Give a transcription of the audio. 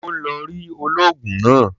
Ó ń lọ rí olóògùn náà.